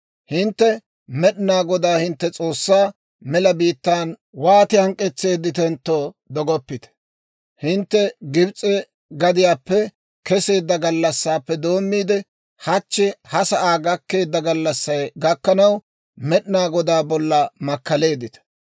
«Hintte Med'inaa Godaa hintte S'oossaa mela biittaan wooti hank'k'etseedditentto dogoppite; hintte Gibs'e gadiyaappe keseedda gallassaappe doommiide, hachchi ha sa'aa gakkeedda gallassay gakkanaw, Med'inaa Godaa bolla makkaleeddita.